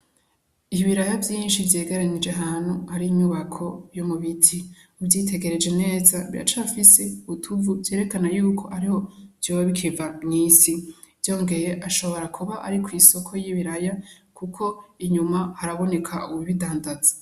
Ibiraraya vyinshi vyegeranije ahantu hari inyubako yo mu biti, uvyiitegereje neza biracafise utuvu vyerekana yuko ariyo vyoba bikiva mw'isi, vyongeye ashobora kuba ari kw'isoko y'ibiraya kuko inyuma haraboneka uwubindandaza.